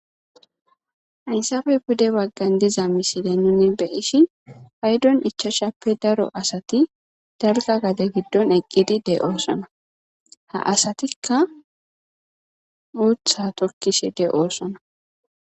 Hayssappe pudde baggan dizza missilen nuni be'ishin payiddon ichchashappe daro asati dalgga gadde giddon eqqidi de'osson ha asatika uutha tokkishe de'osona.